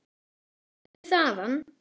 Ertu þaðan?